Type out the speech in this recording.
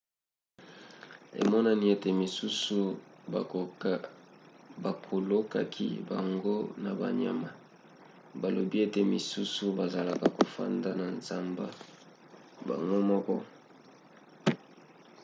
emonani ete misusu babokolaki bango na banyama; balobi ete misusu bazalaka kofanda na zamba bango moko